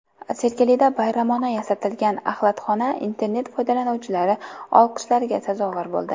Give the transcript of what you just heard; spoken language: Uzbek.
Sergelida bayramona yasatilgan axlatxona internet foydalanuvchilari olqishlariga sazovor bo‘ldi.